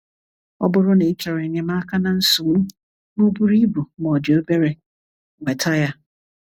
Ọ bụrụ na ịchọrọ enyemaka na nsogbu, ma o o buru ibu ma odi obere, nweta ya.